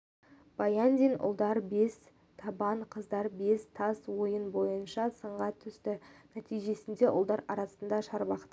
баяндин ұлдар бес табан қыздар бес тас ойыны бойынша сынға түсті нәтижесінде ұлдар арасында шарбақты